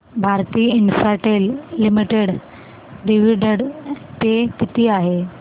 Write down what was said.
Bharti Infratel limited dividend पे किती आहे